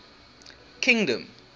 kingdom